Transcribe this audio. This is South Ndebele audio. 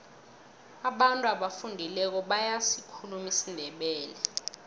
abantu abafundileko bayasikhuluma isindebele